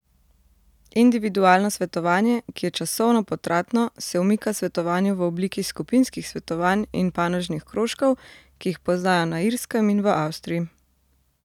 Individualno svetovanje, ki je časovno potratno, se umika svetovanju v obliki skupinskih svetovanj in panožnih krožkov, ki jih poznajo na Irskem in v Avstriji.